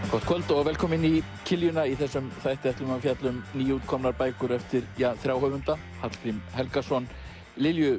gott kvöld velkomin í kiljuna í þessum þætti ætlum við að fjalla um nýútkomnar bækur eftir þrjá höfunda Hallgrím Helgason Lilju